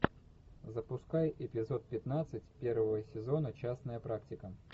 запускай эпизод пятнадцать первого сезона частная практика